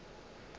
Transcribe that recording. ba be ba šetše ba